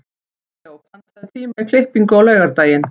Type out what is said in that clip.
Rómeó, pantaðu tíma í klippingu á laugardaginn.